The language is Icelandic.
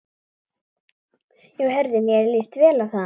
Já heyrðu, mér líst vel á það!